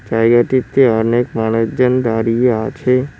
জায়গাটিতে অনেক মানুষজন দাঁড়িয়ে আছে।